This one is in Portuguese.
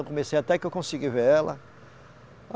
Eu comecei até que eu consegui ver ela.